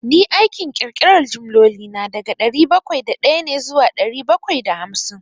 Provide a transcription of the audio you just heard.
Ni aikin ƙirƙiran jimloli na, daga dari bakwai da ɗaya ne zuwa ɗari bakwai da hamsin.